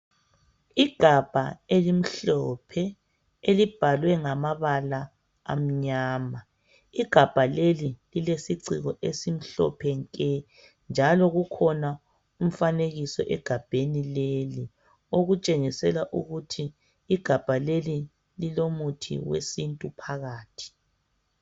Igamba elimhlophe elibhalwe ngamabala amnyama igamba leli lilesiciko esimhlophe nke njalo kukhona umfanekiso egabheni leli okutshengisa ukuthi igamba leli lilomuthi wesintu phakathi.